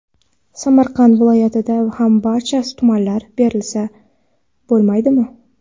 Samarqand viloyatida ham barcha tumanlarda berilsa bo‘lmaydimi?”.